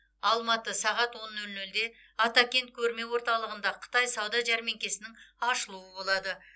алматы сағат он нөл нөлде атакент көрме орталығында қытай сауда жәрмеңкесінің ашылуы болады